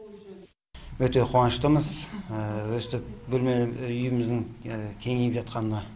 өте қуаныштымыз өстіп бөлме үйіміздің кеңейіп жатқанына